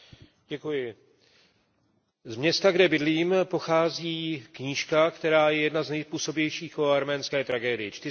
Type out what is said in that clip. Z města, kde bydlím, pochází knížka, která je jedna z nejpůsobivějších o arménské tragédii, Čtyřicet dnů od Franze Werfela.